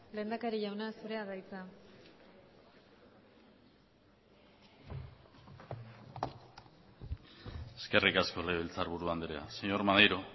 lehendakari jauna zurea da hitza eskerrik asko legebiltzarburu andrea señor maneiro